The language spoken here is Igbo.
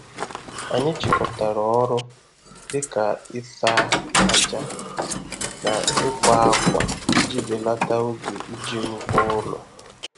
Anyị chịkọtara ọrụ dị ka ịsa ájá na ịkwa ákwà iji belata oge iji ngwa ụlọ.